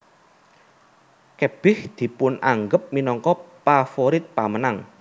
Kebich dipunanggep minangka pavorit pamenang